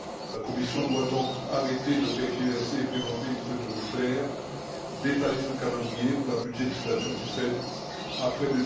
La Commission doit donc arrêter de tergiverser et présenter une feuille de route claire, détaillant un calendrier pour la budgétisation du FED après